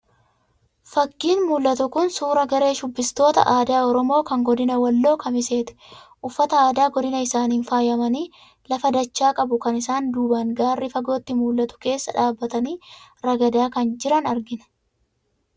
Fakkiin mul'atu kun, suuraa garee shubbistoota aadaa Oromoo kan godina Walloo Kamiseeti. Uffata aadaa godina isaaniin faayamanii, lafa dachaa qabu kan isaan duubaan gaarri fagootti mul'atu keessa dhaabatanii ragadaa kan jiran argina.